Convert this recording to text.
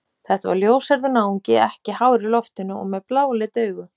Þetta var ljóshærður náungi, ekki hár í loftinu og með bláleit augu.